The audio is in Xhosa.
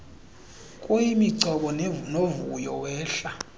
kuyimigcobo novuyo wehla